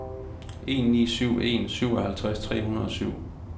en ni syv en syvoghalvtreds tre hundrede og syv